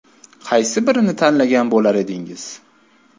Qaysi birini tanlagan bo‘lar edingiz?